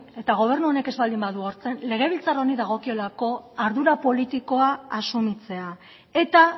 eta gobernu honek ez baldin badu hartzen legebiltzar honi dagokiolako ardura politikoa asumitzea eta